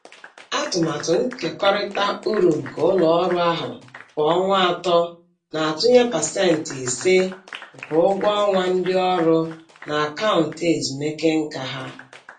Atụmatụ nkekọrịta uru nke ụlọ ọrụ ahụ kwa ọnwa atọ na-atụnye pasentị ise (5%) nke ụgwọ ọnwa ndị ọrụ na akaụntụ ezumike nka ha.